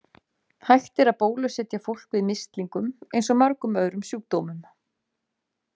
Hægt er að bólusetja fólk við mislingum eins og mörgum öðrum sjúkdómum.